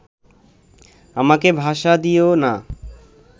আমাকে ভাষা দিয়ো না